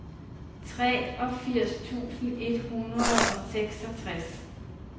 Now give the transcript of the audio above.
treogfirs tusind et hundrede og seksogtres